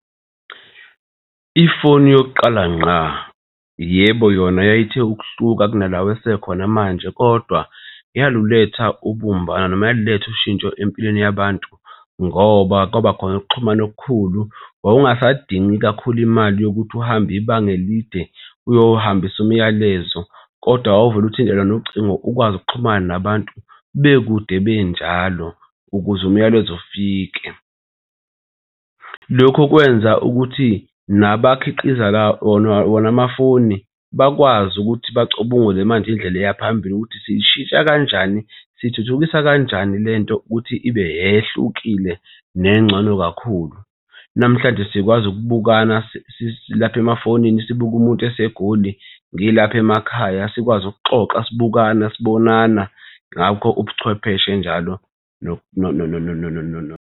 Ifoni yokuqala ngqa, yebo yona yayithe ukuhluka kunalawa esekhona manje, kodwa yaluletha ubumbano noma yaluletha ushintsho empilweni yabantu ngoba kwabakhona ukuxhumana okukhulu. Wawungasayidingi kakhulu imali yokuthi uhambe ibanga elide uyohambisa umyalezo kodwa wawuvele uthintane nocingo ukwazi ukuxhumana nabantu bekude benjalo ukuze umyalezo ufike. Lokhu kwenza ukuthi nabakhiqiza wona wona amafoni bakwazi ukuthi bacubungule manje indlela eyaphambili ukuthi siyishintsha kanjani, sithuthukisa kanjani lento ukuthi ibe ehlukile nengcono kakhulu. Namhlanje sikwazi ukubukana silapha emafonini, sibuka umuntu eseGoli ngilapha emakhaya sikwazi ukuxoxa sibukana sibonana ngakho ubuchwepheshe njalo .